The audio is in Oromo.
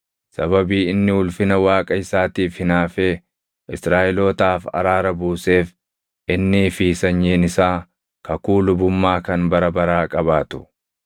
Sababii inni ulfina Waaqa isaatiif hinaafee Israaʼelootaaf araara buuseef, innii fi sanyiin isaa kakuu lubummaa kan bara baraa qabaatu.”